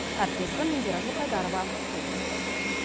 әріптесім индира жылқайдарова толықтырады